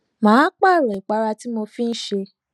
mo pààrò ìpara tí mo fi n ṣe